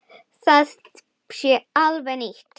Það sé alveg nýtt.